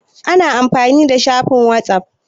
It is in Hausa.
Ana amfani da shafin whatsapp.